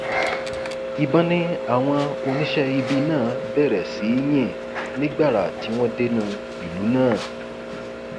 ìbọn ni àwọn oníṣẹ ibi náà bẹrẹ sí í yìn ní gbàrà tí wọn dénú ìlú náà